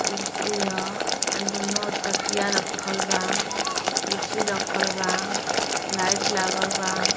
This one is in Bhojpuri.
कुर्सी ह आ दुनो और दोनों ओर तकिया रखल बा। कुर्सी रखल बा लाइट लागल बा।